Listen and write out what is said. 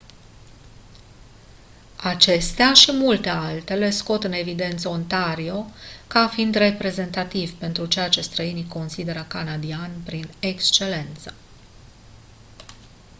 acestea și multe altele scot în evidență ontario ca fiind reprezentativ pentru ceea ce străinii consideră canadian prin excelență